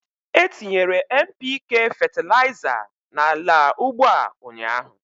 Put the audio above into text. Etinyere NPK fetịlaịza n'ala ugbo a ụnyaahụ